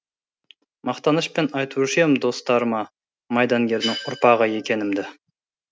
мақтанышпен айтушы ем достарыма майдангердің ұрпағы екенімді